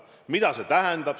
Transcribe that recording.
Mida see tähendanuks?